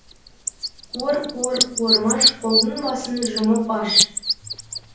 қуыр қуыр қуырмаш қолдың басын жұмып аш